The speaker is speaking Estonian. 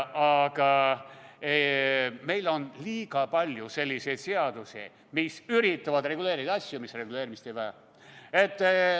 Aga meil on liiga palju selliseid seadusi, mis üritavad reguleerida asju, mis reguleerimist ei vaja.